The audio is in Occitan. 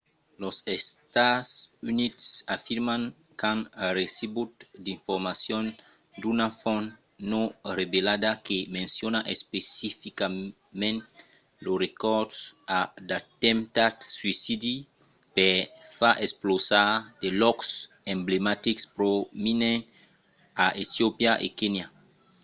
los estats units afirman qu’an recebut d’informacions d’una font non revelada que menciona especificament lo recors a d’atemptats suïcidi per far explosar de lòcs emblematics prominents a etiopia e kenya